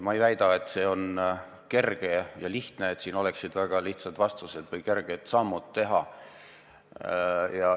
Ma ei väida, et see on kerge ja lihtne, et on olemas väga lihtsad vastused ja sammud, mida on kerge teha.